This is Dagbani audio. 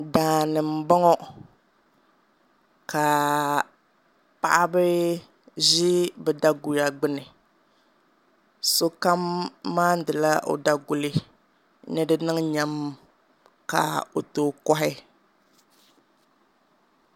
Daani n boŋo ka paɣaba ʒi bi daguya gbuni sokam maandila o daguli ni di niŋ nyɛm ka o tooi kohi